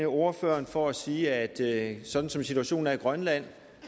ordføreren for at sige at sådan som situationen er i grønland